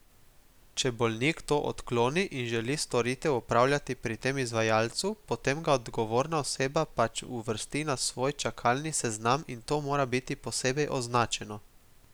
Če bolnik to odkloni, in želi storitev opravljati pri tem izvajalcu, potem ga odgovorna oseba pač uvrsti na svoj čakalni seznam in to mora biti posebej označeno.